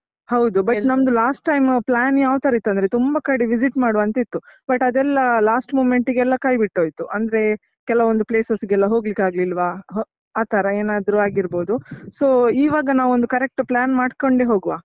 ಹೌದು but ನಮ್ದು last time plan ಯಾವ್ ತರ ಇತ್ತು ಅಂದ್ರೆ ತುಂಬ ಕಡೆ visit ಮಾಡ್ ಅಂತಿತ್ತು but ಅದೆಲ್ಲ last moment ಗೆಲ್ಲ ಕೈಬಿಟ್ಟೋಯ್ತು ಅಂದ್ರೆ, ಕೆಲವೊಂದು places ಗೆಲ್ಲ ಹೋಗ್ಲಿಕ್ಕಾಗ್ಲಿಲ್ವ ಅಹ್ ಆತರ ಏನಾದ್ರು ಆಗಿರ್ಬೋದು so ಈವಾಗ ನಾವೊಂದು correct plan ಮಾಡ್ಕೊಂಡೇ ಹೋಗುವ.